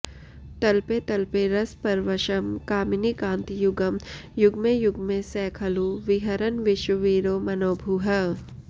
तल्पे तल्पे रसपरवशं कामिनीकान्तयुग्मं युग्मे युग्मे स खलु विहरन् विश्ववीरो मनोभूः